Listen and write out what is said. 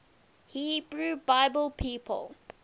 hebrew bible people